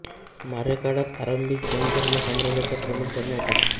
मौर्यकाळात आरंभी जैन धर्म साम्राज्याचा प्रमुख धर्म होता